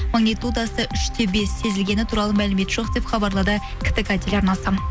магнитудасы үш те бес сезілгені туралы мәлімет жоқ деп хабарлады ктк телеарнасы